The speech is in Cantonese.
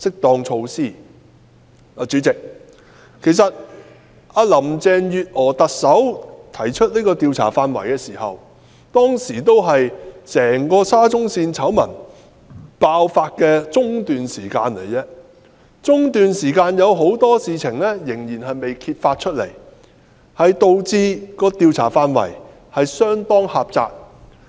代理主席，在特首林鄭月娥提出上述這4方面的調查範圍時，只是整個沙中線工程的醜聞爆發的中段，當時仍有很多事情未被揭發，以致有關調查範圍相當狹窄。